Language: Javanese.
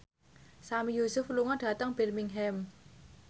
Sami Yusuf lunga dhateng Birmingham